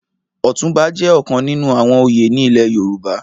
Òtunbá jè òkán ninú àwòn óyé ni ilè Yoruba